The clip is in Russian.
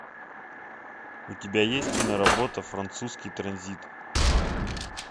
у тебя есть киноработа французский транзит